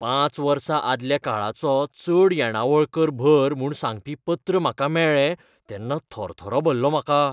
पांच वर्सां आदल्या काळाचो चड येणावळ कर भर म्हूण सांगपी पत्र म्हाका मेळ्ळें तेन्ना थरथरो भरलो म्हाका.